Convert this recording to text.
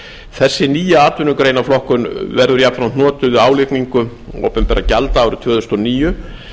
þessi nýja atvinnugreinaflokkun verður jafnframt notuð við álagningu opinberra gjalda árið tvö þúsund og níu